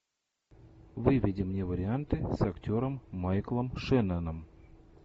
выведи мне варианты с актером майклом шенноном